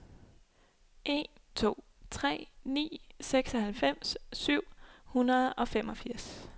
en to tre ni seksoghalvfems syv hundrede og femogfirs